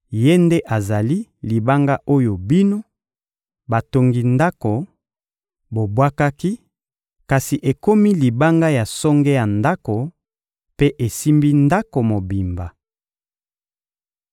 Ye nde azali «libanga oyo bino, batongi ndako, bobwakaki, kasi ekomi libanga ya songe ya ndako, mpe esimbi ndako mobimba.»